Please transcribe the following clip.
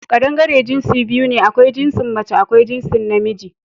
Kaɗangare jinsi biyu ne: akwai jinsin mace akwai jinsin na miji